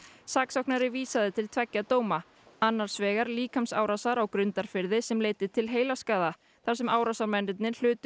saksóknari vísaði til tveggja dóma annars vegar líkamsárásar á Grundarfirði sem leiddi til heilaskaða þar sem árásarmennirnir hlutu